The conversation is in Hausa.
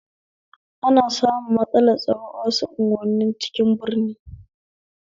Ana samun matsalar tsaro a wasu unguwanin cikin birni